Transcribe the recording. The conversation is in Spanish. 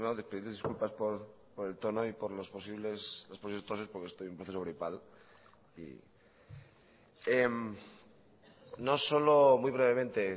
disculpas por el tono y por las posibles toses porque estoy en un proceso gripal y no solo muy brevemente